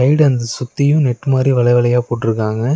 வீடு அந்த சுத்தியு நெட் மாரி வல வலையா போட்ருக்காங்க.